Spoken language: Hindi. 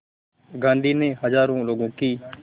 गांधी ने हज़ारों लोगों की